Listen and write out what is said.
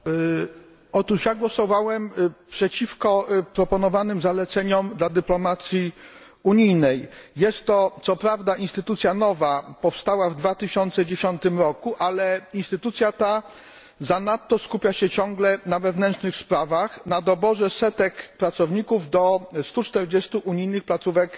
Panie Przewodniczący! Otóż ja głosowałem przeciwko proponowanym zaleceniom dla dyplomacji unijnej. Jest to co prawda instytucja nowa, powstała w 2010 roku, ale instytucja ta zanadto skupia się wciąż na wewnętrznych sprawach, na doborze setek pracowników do 140 unijnych placówek